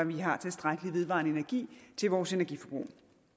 vi har tilstrækkelig vedvarende energi til vores energiforbrug